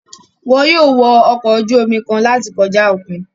Wọn yóò wọ ọkọ ojú omi kan láti kọja okùn